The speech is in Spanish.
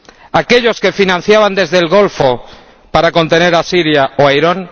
¿A aquellos a los que financiaban desde el Golfo para contener a Siria o a Irán?